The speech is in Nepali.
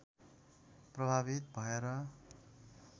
प्रभावित भएर